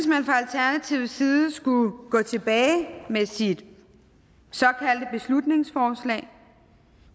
jeg synes side skulle gå tilbage med sit såkaldte beslutningsforslag og